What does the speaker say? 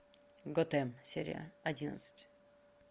готэм серия одиннадцать